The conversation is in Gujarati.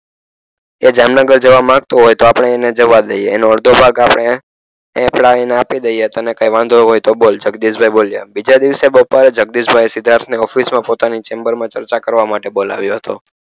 એ જામનગર જવા માગતો હોય તો આપણે એને જવા દઈએ એનો અડધો ભાગ આપણે લાવીને આપી દઈએ તને કાઇ વાંધો હોય તો બોલ જગદીશભાઇ બોલ્યા બીજા દિવસે બપોરે જગદીશભાઈએ સિદ્ધાર્થ ને ઓફિસમાં પોતાની ચેમ્બર મા ચર્ચા કરવા માટે બોલાવ્યો હતો